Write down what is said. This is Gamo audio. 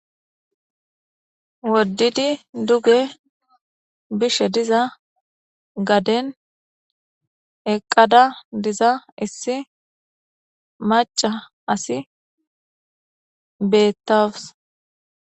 Wodidi duge bishe diza gadene eqada diza issi maca asi betawus .